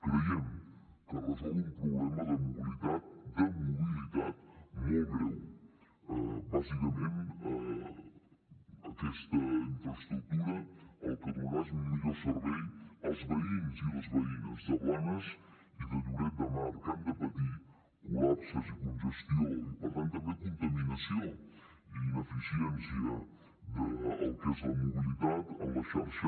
creiem que es resol un problema de mobilitat de mobilitat molt greu bàsicament aquesta infraestructura el que donarà és un millor servei als veïns i les veïnes de blanes i de lloret de mar que han de patir col·lapses i congestió i per tant també contaminació i ineficiència del que és la mobilitat en la xarxa